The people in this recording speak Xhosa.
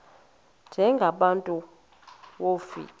njengaba bantu wofika